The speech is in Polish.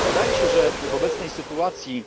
Wydaje się, że w obecnej sytuacji